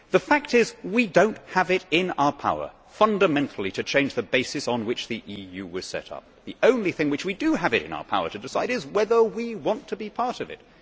The fact is that we do not have it in our power fundamentally to change the basis on which the EU was set up. The only thing which we do have it in our power to decide is whether we want to be part of it.